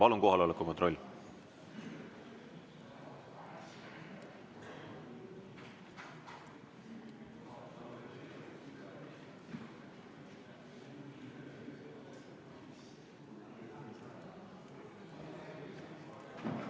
Palun kohaloleku kontroll!